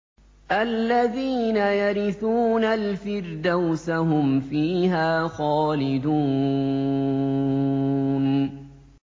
الَّذِينَ يَرِثُونَ الْفِرْدَوْسَ هُمْ فِيهَا خَالِدُونَ